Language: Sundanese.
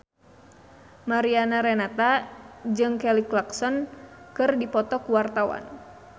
Mariana Renata jeung Kelly Clarkson keur dipoto ku wartawan